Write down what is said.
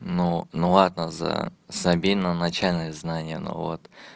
ну ну ладно за забей на начальные знания но вот